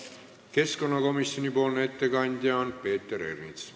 Keskkonnakomisjoni nimel teeb ettekande Peeter Ernits.